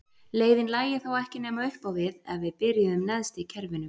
Leiðin lægi þá ekki nema upp á við ef við byrjuðum neðst í kerfinu.